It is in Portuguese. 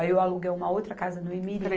Aí, eu aluguei uma outra casa no Imirim.